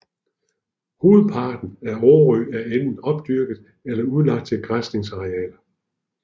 Hovedparten af Årø er enten opdyrket eller udlagt til græsningsarealer